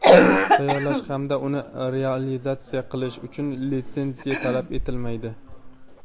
tayyorlash hamda uni realizatsiya qilish uchun litsenziya talab etilmaydi.